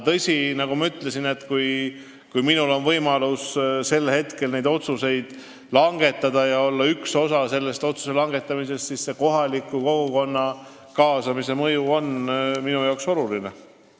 Tõsi, nagu ma ütlesin, kui minul on võimalus neid otsuseid langetada, olla üks nendest, kes seda otsust langetab, siis kohaliku kogukonna kaasamine on minu arvates oluline.